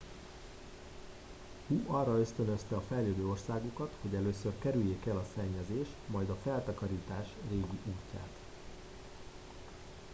hu arra ösztönözte a fejlődő országokat hogy először kerüljék el a szennyezés majd a feltakarítás régi útját